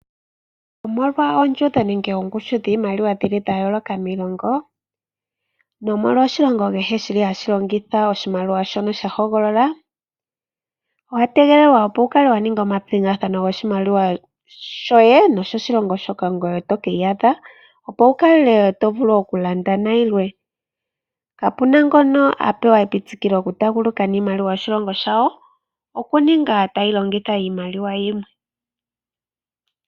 Omolwa oondjundo nenge oongushu dhiimaliwa dha yooloka miilongo nomolwa oshilongo kehe hashi longitha oshimaliwa shono sha hogolola, owa tegelelwa opo wu kale wa ninga omapingathano goshimaliwa shoye noshoshilongo shoka ngoye to ka iyadha, opo wu vule okulanda nayilwe. Kapu na ngono a pewa epitikilo lyokutaaguluka niimaliwa yoshilongo shawo, okuninga tayi longitha iimaliwa yimwe.